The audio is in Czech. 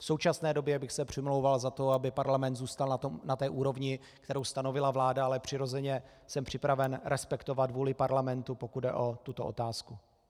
V současné době bych se přimlouval za to, aby parlament zůstal na té úrovni, kterou stanovila vláda, ale přirozeně jsem připraven respektovat vůli parlamentu, pokud jde o tuto otázku.